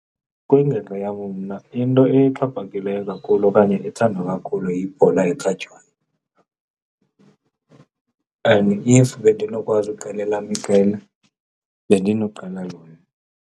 Kwingingqi yam mna into exhaphakileyo kakhulu okanye ethandwa kakhulu yibhola ekhatywayo and if bendinokwazi uqala elam iqela, bendinoqala lona.